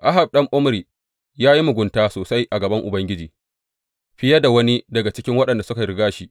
Ahab ɗan Omri ya yi mugunta sosai a gaban Ubangiji fiye da wani daga cikin waɗanda suka riga shi.